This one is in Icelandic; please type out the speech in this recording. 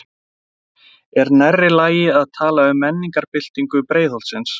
Þorbjörn: Er nærri lagi að tala um menningarbyltingu Breiðholtsins?